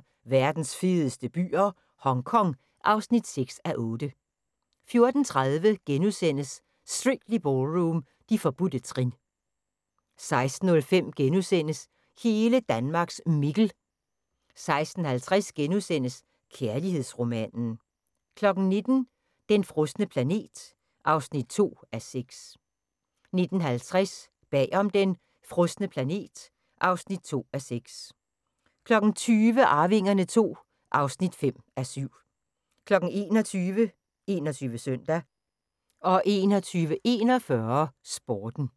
13:40: Verdens fedeste byer - Hongkong (6:8) 14:30: Strictly Ballroom – De forbudte trin * 16:05: Hele Danmarks Mikkel * 16:50: Kærlighedsromanen * 19:00: Den frosne planet (2:6) 19:50: Bag om den frosne planet (2:6) 20:00: Arvingerne II (5:7) 21:00: 21 Søndag 21:41: Sporten